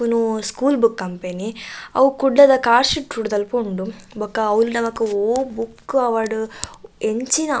ಉಂದು school book company ಅವು ಕುಡ್ಲದ ಕಾರ್ ಸ್ಟ್ರೀಟ್ ರೂಟ್ ದಲ್ಪ ಉಂಡು ಬೊಕ ಅವ್ಲು ನಮಕ್ ಒವು ಬುಕ್ಕ್ ಆವಡ್ ಎಂಚಿನ.